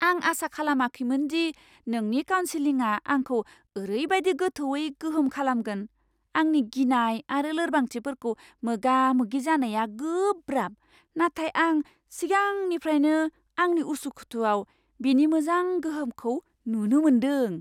आं आसा खालामाखैमोन दि नोंनि काउनसिलिंआ आंखौ ओरैबायदि गोथौवै गोहोम खालामगोन। आंनि गिनाय आरो लोरबांथिफोरखौ मोगा मोगि जानाया गोब्राब, नाथाय आं सिगांनिफ्राइनो आंनि उसुखुथुआव बेनि मोजां गोहोमखौ नुनो मोनदों।